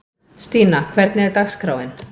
Stína, hvernig er dagskráin?